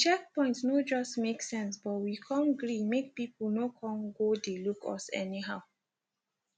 di checkpoint no just make sense but we come gree make pipu no come go dey look us anyhow